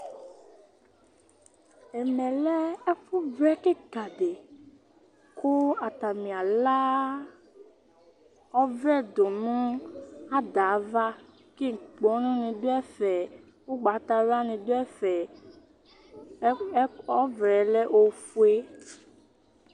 ɛmɛ lɛ ɛfu vlɛ keka di kò atani ala ɔvlɛ do no ada ava kò inkpɔnu ni do ɛfɛ ugbata wla ni do ɛfɛ ɔvlɛ lɛ ofue